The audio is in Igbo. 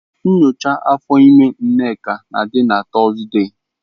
Nyocha afọ ime Nneka na-adị na Tọzdee.